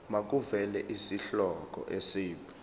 makuvele isihloko isib